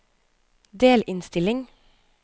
delinnstilling